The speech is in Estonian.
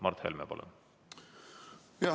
Mart Helme, palun!